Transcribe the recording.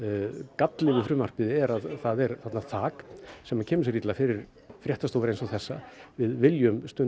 galli við frumvarpið er að það er þak sem kemur sér illa fyrir fréttastofur eins og þessa við viljum stunda